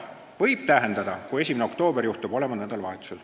Võib tähendada, kui 1. oktoober juhtub olema nädalavahetusel.